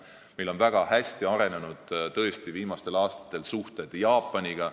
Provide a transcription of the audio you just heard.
Meil on viimastel aastatel väga hästi arenenud suhted Jaapaniga.